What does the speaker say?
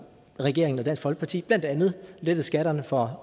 regeringen og dansk folkeparti blandt andet lettet skatterne for